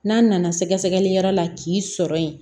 N'a nana sɛgɛsɛgɛli yɔrɔ la k'i sɔrɔ yen